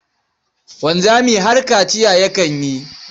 Wanzami har kaciya yakan yi.